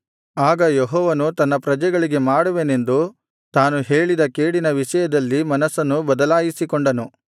ಆಗ ಯೆಹೋವನು ತನ್ನ ಪ್ರಜೆಗಳಿಗೆ ಮಾಡುವೆನೆಂದು ತಾನು ಹೇಳಿದ ಕೇಡಿನ ವಿಷಯದಲ್ಲಿ ಮನಸ್ಸನ್ನು ಬದಲಾಯಿಸಿಕೊಂಡನು